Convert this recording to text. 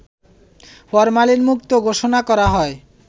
ফরমালিনমুক্ত ঘোষণা করা হয়